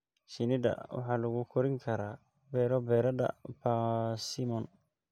Shinnida waxaa lagu korin karaa beero beereedka persimmon.